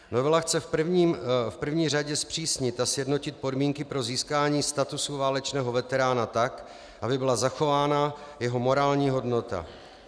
Novela chce v první řadě zpřísnit a sjednotit podmínky pro získání statusu válečného veterána tak, aby byla zachována jeho morální hodnota.